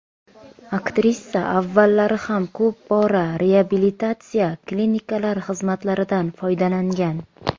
Aktrisa avvallari ham ko‘p bora reabilitatsiya klinikalari xizmatlaridan foydalangan.